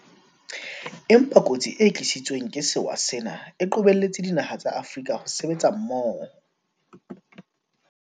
Empa kotsi e tlisitsweng ke sewa sena e qobelletse dinaha tsa Afrika ho sebetsa mmoho.